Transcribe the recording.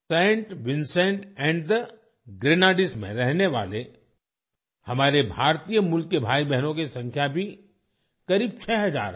Saint Vincent and the Grenadines में रहने वाले हमारे भारतीय मूल के भाई बहनों की संख्या भी करीब छ हजार है